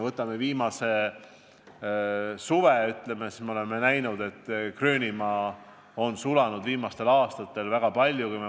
Võtame viimase suve: me oleme näinud, et Gröönimaa on hakanud väga kiiresti sulama.